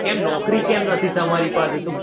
કેમ નોકરી કેમ નથી તમારી પાસે?